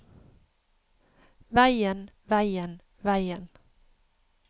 veien veien veien